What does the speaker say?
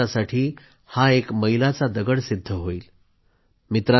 नवीन भारतासाठी हा एक मैलाचा दगड सिद्ध होईल